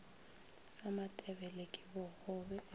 sa matebele ke bogobe e